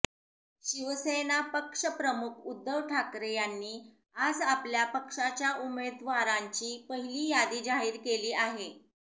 शिवसेना पक्षप्रमुख उध्दव ठाकरे यांनी आज आपल्या पक्षाच्या उमेदवारांची पहिली यादी जाहीर केली आहे